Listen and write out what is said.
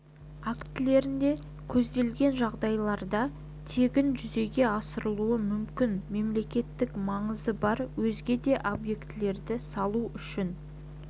актілерінде көзделген жағдайларда тегін жүзеге асырылуы мүмкін мемлекеттік маңызы бар өзге де объектілерді салу үшін